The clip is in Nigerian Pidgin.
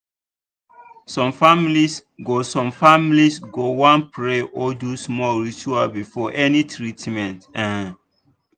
some families go some families go wan pray or do small ritual before any treatment. um